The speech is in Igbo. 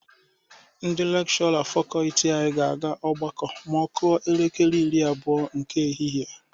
Ndị lekshọra fakọọti anyị ga-aga ọgbakọ ma ọ kụọ elekere iri abụọ nke ehihie.